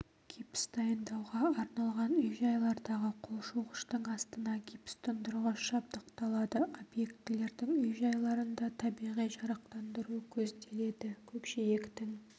гипс дайындауға арналған үй-жайлардағы қол жуғыштың астына гипс тұндырғыш жабдықталады объектілердің үй-жайларында табиғи жарықтандыру көзделеді көкжиектің